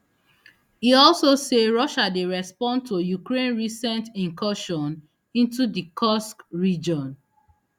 e also say russia dey respond to ukraine recent incursion into di kursk region